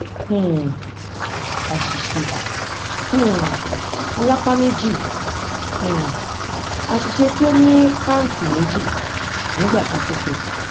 um àṣìṣe um alápá méjì um àṣìṣe tí ó nípaǹtì méjì nígbà kan ṣoṣo